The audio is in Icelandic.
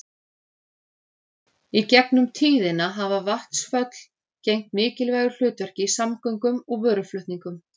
Í gegnum tíðina hafa vatnsföll gegnt mikilvægu hlutverki í samgöngum og vöruflutningum.